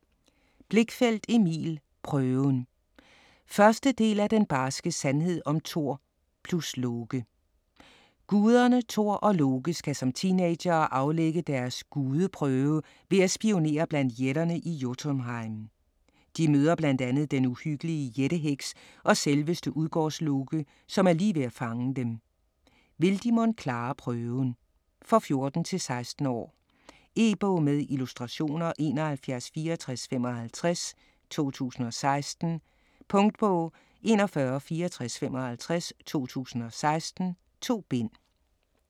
Blichfeldt, Emil: Prøven 1. del af Den barske sandhed om Thor+Loke. Guderne Thor og Loke skal som teenagere aflægge deres "Gudeprøve" ved at spionere blandt jætterne i Jotunheim. De møder blandt andet den uhyggelige jætte-heks og selveste Udgårdsloke, som er lige ved at fange dem. Vil de mon klare prøven? For 14-16 år. E-bog med illustrationer 716455 2016. Punktbog 416455 2016. 2 bind.